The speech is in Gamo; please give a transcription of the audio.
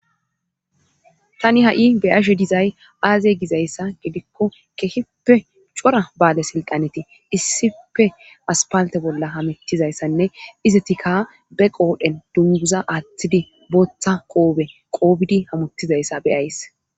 tani ha7i beyashe dizay aaze gizayssa gidikko kehipe cora baale silqaneti issife aspalte bolla hamettizayssanne izetika be qoodhen dunguza aaththidi booththa qoobe qoobidi hamuttizayssa beyays